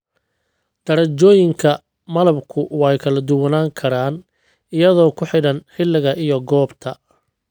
Darajooyinka malabku way kala duwanaan karaan iyadoo ku xidhan xilliga iyo goobta.